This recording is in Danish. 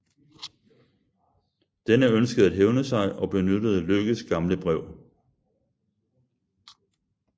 Denne ønskede at hævne sig og benyttede Lykkes gamle brev